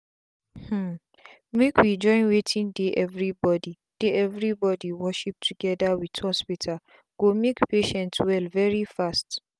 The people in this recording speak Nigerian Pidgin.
hmmmmake we join wetin dey everybody dey everybody worship together with hospital go make patient well very fast.